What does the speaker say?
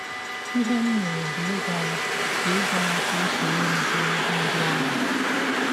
Ihe m mere bụ ịgwa ya ka ịgwa ya ka ọ sọrọ m gee egwụ ndị ahụ.